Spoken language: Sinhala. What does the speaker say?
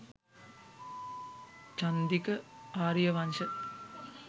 chandika ariyawansha